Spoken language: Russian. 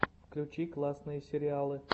включи классные сериалы